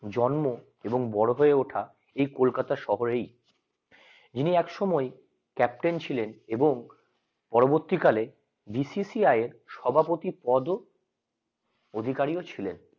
জন্ম এবং বড় হয়ে ওঠা এই কলকাতা শহরেই ইন একসময় ক্যাপ্টেন ছিলেন এবং পরবর্তীকালে BCCI য়ের পদ ও অধিকারী ও ছিলেন